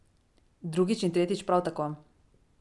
Drugič in tretjič prav tako.